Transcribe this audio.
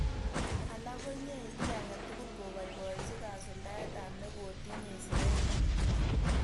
Alak konyei kiy age tugul koboiboichi kasuldaetab nekotinyei siret neo